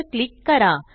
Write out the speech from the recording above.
वर क्लिक करा